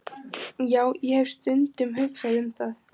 Já, ég hef stundum hugsað um það.